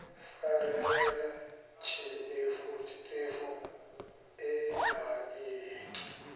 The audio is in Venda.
farelela tshiṱefu ea i he